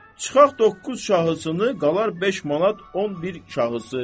Çıxaq doqquz şahısını qalar 5 manat 11 şahısı.